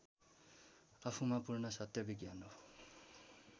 आफूमा पूर्ण सत्य विज्ञान हो